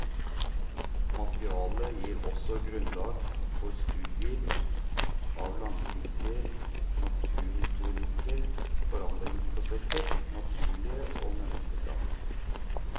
Materialet gir også grunnlag for studier av langsiktige naturhistoriske forandringsprosesser, naturlige og menneskeskapte.